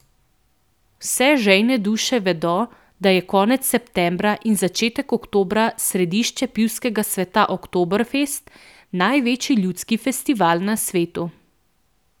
Vse žejne duše vedo, da je konec septembra in začetek oktobra središče pivskega sveta Oktoberfest, največji ljudski festival na svetu.